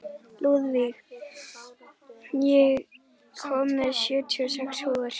Lúðvíg, ég kom með sjötíu og sex húfur!